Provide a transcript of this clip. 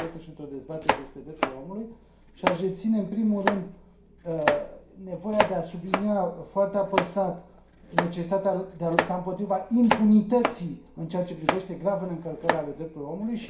Suntem, totuși, într o dezbatere despre drepturile omului și aș reține, în primul rând, nevoia de a sublinia foarte apăsat necesitatea de a lupta împotriva impunității în ceea ce privește gravele încălcări ale drepturilor omului.